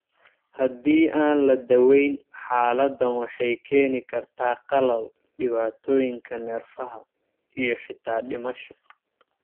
Haddii aan la daweyn, xaaladdan waxay keeni kartaa qalal, dhibaatooyinka neerfaha (kernicterus) iyo xitaa dhimasho.